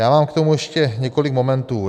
Já mám k tomu ještě několik momentů.